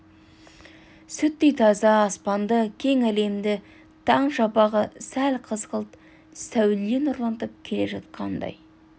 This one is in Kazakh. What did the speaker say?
сүттей таза аспанды кең әлемді таң шапағы сәл қызғылт сәуле нұрлантып келе жатқандай